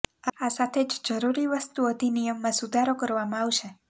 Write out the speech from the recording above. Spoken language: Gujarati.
આ સાથે જ જરૂરી વસ્તુ અધિનિયમમાં સુધારો કરવામાં આવશે